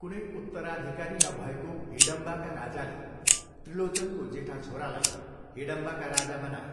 कुनै उत्तराधिकारी नभएको हिडम्बाका राजाले त्रिलोचनको जेठा छोरालाई हिडम्बाका राजा बनाए।